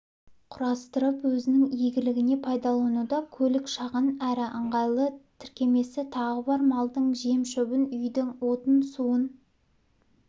құрастырып өзінің игілігіне пайдалануда көлік шағын әрі ыңғайлы тіркемесі тағы бар малдың жем-шөбін үйдің отын-суын